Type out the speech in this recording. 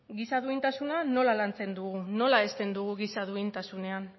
giza duintasuna nola lantzen dugu nola hezten dugu giza duintasunean